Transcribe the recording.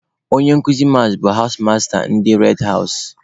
Onye nkụzi mas bụ hawụs mistures ndị red hawụs.